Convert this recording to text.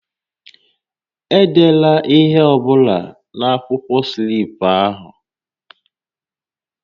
Edela ihe ọ bụla na-akwụkwọ slip ahụ!